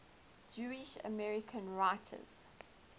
jewish american writers